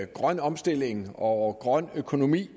grøn omstilling og grøn økonomi